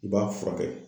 I b'a furakɛ